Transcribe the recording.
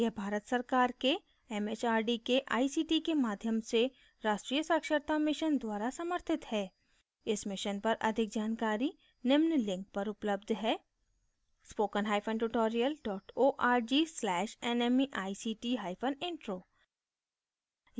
यह भारत सरकार के एमएचआरडी के आईसीटी के माध्यम से राष्ट्रीय साक्षरता mission द्वारा समर्थित है इस mission पर अधिक जानकारी निम्न लिंक पर उपलब्ध है